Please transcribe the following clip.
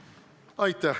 Aitäh!